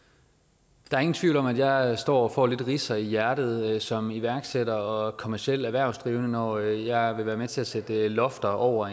for ingen tvivl om at jeg står og får lidt ridser i hjertet som iværksætter og kommerciel erhvervsdrivende når jeg vil være med til at sætte lofter over